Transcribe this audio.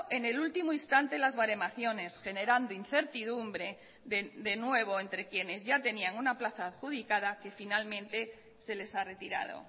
en el último instante las baremaciones generando incertidumbre de nuevo entre quienes ya tenían una plaza adjudicada que finalmente se les ha retirado